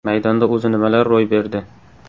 Maydonda o‘zi nimalar ro‘y berdi?